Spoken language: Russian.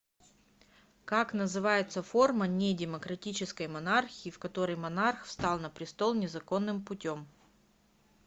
как называется форма не демократической монархии в которой монарх встал на престол незаконным путем